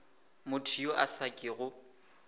motho yo a sa kego